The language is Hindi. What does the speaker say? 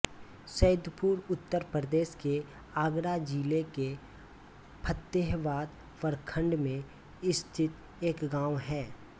सईदपुर उत्तर प्रदेश के आगरा जिले के फ़तेहाबाद प्रखंड में स्थित एक गाँव है